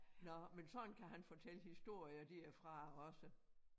Nåh men sådan kan han fortælle historier derfra også